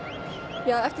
ja eftir